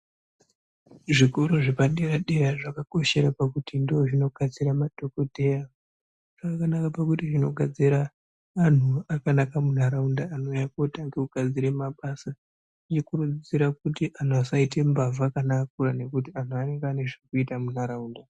Zvikora zvepadera dera zvakakoshera pakuti ndozvinogadzira madhokodheya zvakanaka pakuti zvinogadzira anhu akanaka mundaraunda anouya otanga kugadzira mabasa okurudzira kuti anhu asaita mbavha kana akura ngekuti angu anenge ane zvekuita mundaraunda.